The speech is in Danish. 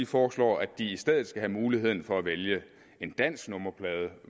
foreslår at de i stedet skal have mulighed for at vælge en dansk nummerplade